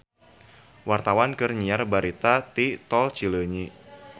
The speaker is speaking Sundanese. Wartawan keur nyiar berita di Tol Cileunyi